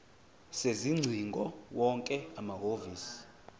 sezingcingo wonke amahhovisi